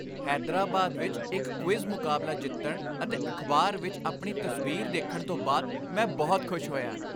ਹੈਦਰਾਬਾਦ ਵਿੱਚ ਇੱਕ ਕੁਇਜ਼ ਮੁਕਾਬਲਾ ਜਿੱਤਣ ਅਤੇ ਅਖਬਾਰ ਵਿੱਚ ਆਪਣੀ ਤਸਵੀਰ ਦੇਖਣ ਤੋਂ ਬਾਅਦ ਮੈਂ ਬਹੁਤ ਖੁਸ਼ ਹੋਇਆ।